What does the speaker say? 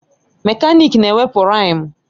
Mekaniki na-ewepụ riimu.